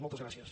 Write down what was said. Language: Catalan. moltes gràcies